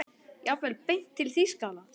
Jafnvel beint til Þýskalands.